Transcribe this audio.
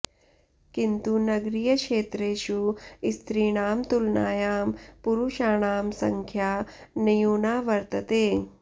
किन्तु नगरीयक्षेत्रेषु स्त्रीणां तुलनायां पुरुषाणां सङ्ख्या न्यूना वर्तते